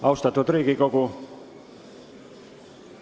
Austatud Riigikogu!